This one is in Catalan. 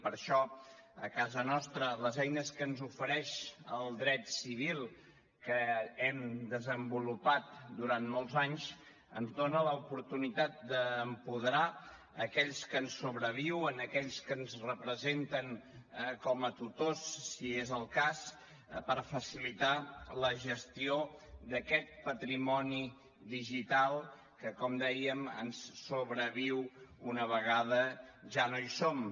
per això a casa nostra les eines que ens ofereix el dret civil que hem desenvolupat durant molt anys ens dona l’oportunitat d’apoderar aquells que ens sobreviuen aquells que ens representen com a tutors si és el cas per facilitar la gestió d’aquest patrimoni digital que com dèiem ens sobreviu una vegada ja no hi som